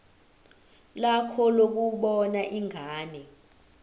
lakho lokubona ingane